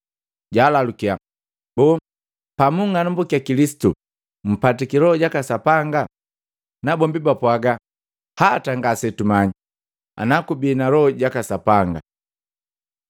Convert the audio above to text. Jalalukiya, “Boo, pamunng'anambukia Kilisitu mumpatika Loho jaka Sapanga?” Nabombi bapwaga, “Hata, ngasetumanyi ana kubii na Loho ja Sapanga.”